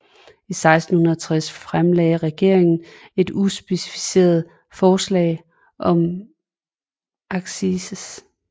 I 1660 fremlagde regeringen et uspecificeret forslag om accise